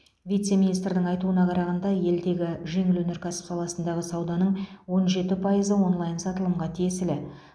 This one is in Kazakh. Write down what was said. вице министрдің айтуына қарағанда елдегі жеңіл өнеркәсіп саласындағы сауданың он жеті пайызы онлайн сатылымға тиесілі